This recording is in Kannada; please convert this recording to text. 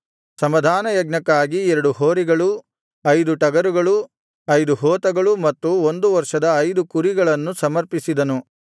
ಸಮಾಧಾನಯಜ್ಞಕ್ಕಾಗಿ ಎರಡು ಹೋರಿಗಳು ಐದು ಟಗರುಗಳು ಐದು ಹೋತಗಳು ಮತ್ತು ಒಂದು ವರ್ಷದ ಐದು ಕುರಿಗಳನ್ನು ಸಮರ್ಪಿಸಿದನು